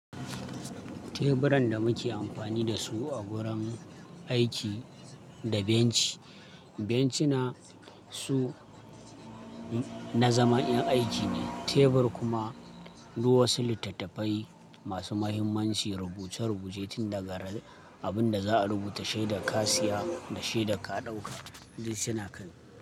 Teburan da muke amfani da su a gurin aiki da bencin, benci na su na zamanin aiki ne. Tebur kuma duk wasu littattafai masu muhimmanci, rubuce-rubuce tin daga abinda za'a rubuta shi da ka siya da shi da ka dauka duk suna kai.